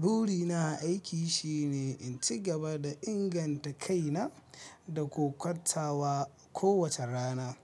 Burina a aiki shine inci gaba da inganta kaina da kokar tawa kowace rana.